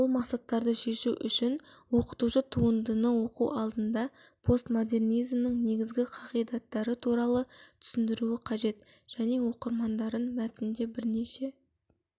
бұл мақсаттарды шешу үшін оқытушы туындыны оқу алында постмодернизмнің негізгі қағидаттары туралы түсіндіруі қажет және оқырмандарын мәтінде бірнеше